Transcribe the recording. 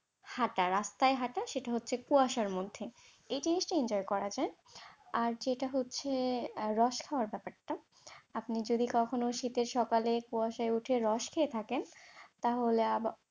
হাঁটা, রাস্তায় হাঁটা, সেটা হচ্ছে কুয়াশার মধ্যে, এই জিনিসটা enjoy করা যায়। আর যেটা হচ্ছে রস খাওয়ার ব্যাপারটা, আপনি যদি কখনো শীতের সকালে কুয়াশায় উঠে রস খেয়ে থাকেন তাহলে,